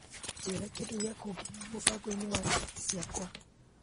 Njĩra kĩndũ gĩa kũngenia mũbango-inĩ wa riboti ciakwa.